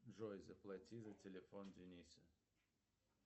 джой заплати за телефон дениса